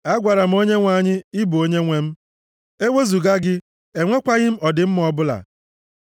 A gwara m Onyenwe anyị, “Ị bụ Onyenwe m, e wezuga gị, enwekwaghị m ọdịmma ọbụla.”